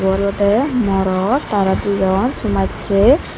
ibe olode morot tara di jon somachi.